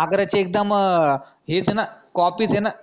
आगऱ्याच्या एकदम हेच ए न copy च आहे न